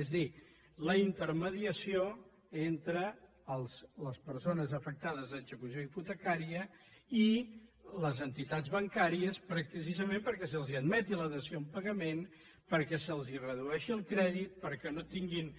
és a dir la intermediació entre les persones afectades d’execució hipotecària i les entitats bancàries precisament perquè se’ls admeti la dació en pagament perquè se’ls redueixi el crèdit perquè no tinguin